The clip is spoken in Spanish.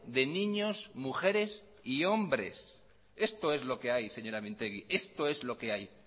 de niños mujeres y hombres esto es lo que hay señora mintegi esto es lo que hay